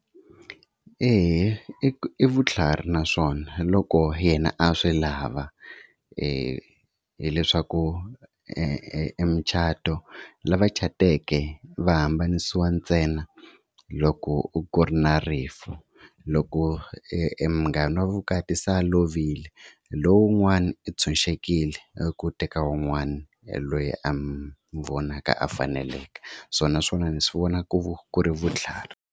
Eya i vutlhari naswona loko yena a swi lava hileswaku emucato lava cateke va hambanisiwa ntsena loko ku ri na rifu, loko e munghana wa vukati se a lovile lowun'wana u tshunxekile eku teka wun'wana loyi a mu vonaka a faneleke so naswona ni swi vona ku ku ri vutlhari.